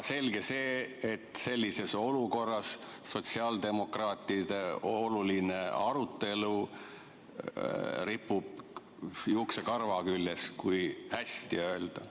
Selge see, et sellises olukorras sotsiaaldemokraatide oluline arutelu ripub juuksekarva küljes, kui hästi öelda.